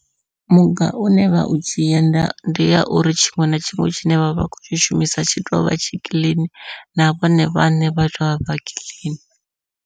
Muga une vha u dzhia ndi ya uri tshiṅwe na tshiṅwe tshine vhavha vha khou tshi shumisa tshi tovha tshi kiḽini na vhone vhaṋe vhabva vha kiḽini.